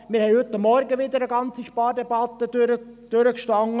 Wir haben heute Morgen wieder eine ganze Spardebatte durchgestanden.